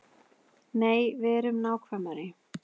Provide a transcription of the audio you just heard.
Nei, verum nákvæmari.